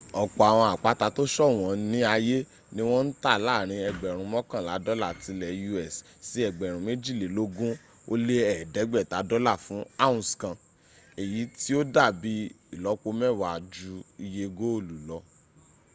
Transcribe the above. ọ̀pọ̀ àwọn àpáta tó ṣọ̀wọ́n ní ayé ní wọ́n ń tà láàrin ẹgbẹ̀rún mọ́kànlá dọ́là ti lẹ̀ us sí ẹgbẹ̀rún méjìlélógún ó lé ẹ̀ẹ́dẹ́gbẹ̀ta dọ́là fún ounce kan èyí tí ó dàbí ìlọ́pọ mẹ́wàá jú iye góòlù lọ